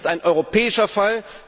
Es ist ein europäischer Fall!